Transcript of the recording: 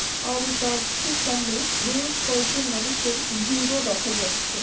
আর এই চার্চ টির সামনে বেশ কয়েকজন মানুষের ভিড়ও দেখা যাচ্ছে।